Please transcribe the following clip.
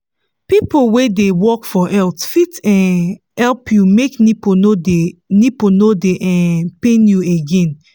people wey dey work for health fit um help you make nipple no dey nipple no dey um pain you again